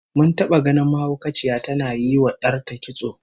Mun taba ganin mahaukaciya tana yinwa 'yar ta kitso